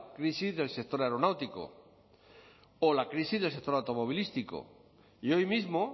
crisis del sector aeronáutico o la crisis del sector automovilístico y hoy mismo